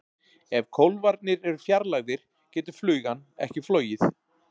Ef kólfarnir eru fjarlægðir getur flugan ekki flogið.